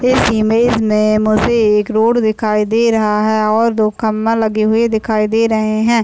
इस इमेज में मुझे एक रोड दिखाई दे रहा है और दो खम्बा लगे हुए दिखाई दे रहे हैं ।